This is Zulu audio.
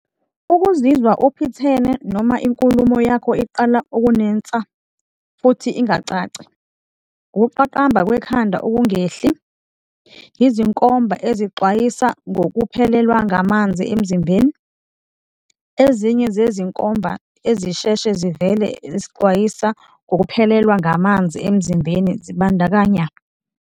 Ukuzizwa uphithene noma inkulumo yakho iqala ukunensa futhi ingacaci. Ukuqaqamba kwekhanda okungehli. Izinkomba ezixwayisa ngokuphelelwa ngamanzi emzimbeni. Ezinye zezinkomba ezisheshe zivele ezixwayisa ngokuphelelwa ngamanzi emzimbeni zibandakanya.